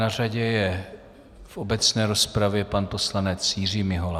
Na řadě je v obecné rozpravě pan poslanec Jiří Mihola.